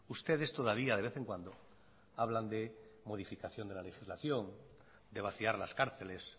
ustedes todavía de vez en cuando hablan de modificación de la legislación de vaciar las cárceles